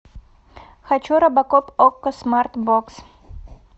хочу робокоп окко смарт бокс